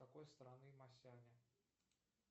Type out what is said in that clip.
какой страны масяня